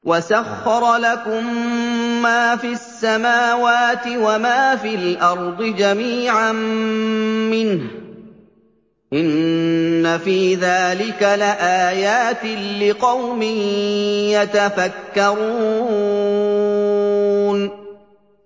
وَسَخَّرَ لَكُم مَّا فِي السَّمَاوَاتِ وَمَا فِي الْأَرْضِ جَمِيعًا مِّنْهُ ۚ إِنَّ فِي ذَٰلِكَ لَآيَاتٍ لِّقَوْمٍ يَتَفَكَّرُونَ